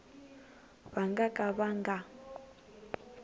va nga ka va nga